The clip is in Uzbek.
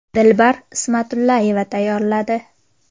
Dilbar Ismatullayeva tayyorladi .